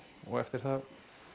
og eftir það